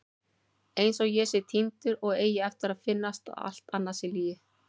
Einsog ég sé týndur og eigi eftir að finnast og allt annað sé lygi.